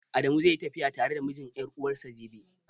Adamu zai yi tafiya tare da mijin ƴar'uwarsa jibi.